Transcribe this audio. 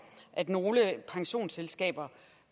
at nogle pensionsselskaber